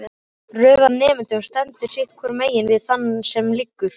Röð af nemendum stendur sitt hvorumegin við þann sem liggur.